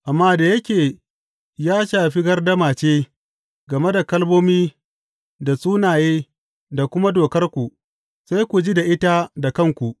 Amma da yake ya shafi gardama ce game da kalmomi da sunaye da kuma dokarku, sai ku ji da ita da kanku.